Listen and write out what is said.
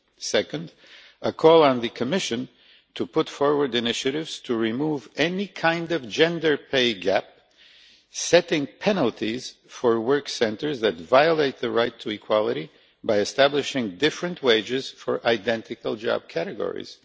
Second, a call to the Commission to put forward initiatives to remove any kind of gender pay gap, setting penalties for workplaces that violate the right to equality by establishing different wages for identical job categories.